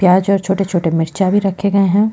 प्याज और छोटे -छोटे मिर्चा भी रखे गए हैं।